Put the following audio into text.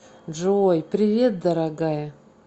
джой привет дорогая